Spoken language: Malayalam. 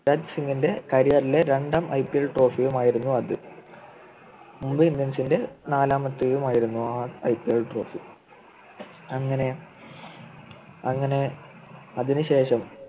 യുവരാജ് സിങ്ൻ്റെ Career ലെ രണ്ടാം IPL Trophy യും ആയിരുന്നു അത് മുംബൈ Indians ൻ്റെ നാലാമത്തെയും ആയിരുന്നു ആ IPL Trophy അങ്ങനെ അങ്ങനെ അതിനുശേഷം